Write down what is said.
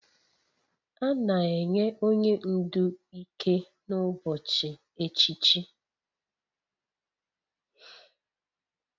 A na-enye onye ndu ike n'ụbọchị echichi